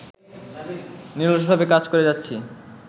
নিরলসভাবে কাজ করে যাচ্ছি